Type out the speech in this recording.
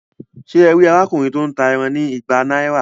Ṣe e rí arákùnrin to n tá ẹran ní ìgbà náírà?